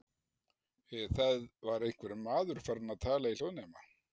Það var einhver maður farinn að tala í hljóðnema.